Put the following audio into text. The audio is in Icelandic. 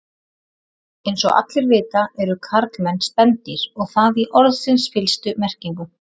Eins og allir vita eru karlmenn spendýr og það í orðsins fyllstu merkingu.